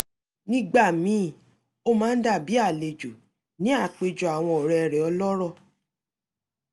nígbà míì ó máa ń dàbí àlejò ní àpèjọ àwọn ọ̀rẹ́ rẹ̀ ọlọ́rọ̀